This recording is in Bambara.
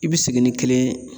I b'i sigi ni kelen ye